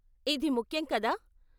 ఇది ముఖ్యం, కదా?